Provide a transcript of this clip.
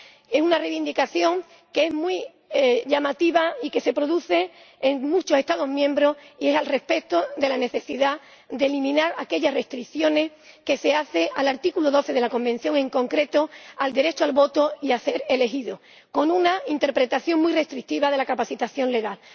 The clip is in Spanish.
Es una reivindicación muy llamativa y que se produce en muchos Estados miembros, y se refiere a la necesidad de eliminar aquellas restricciones que se hacen al artículo 12 de la Convención, en concreto al derecho al voto y a ser elegido, con una interpretación muy restrictiva de la capacidad legal.